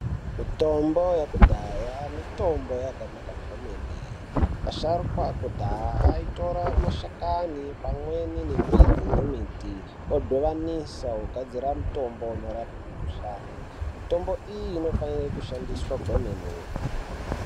Mitombo yekudhaya mitombo yakanaka kwemene, asharukwa ekudhaya aitora mashakani pamweni nemidzi dzemuti odhivanisa ogadzira mutombo unorape mikhuhlani, mitombo iyi inofanira kushandiswa kwemene.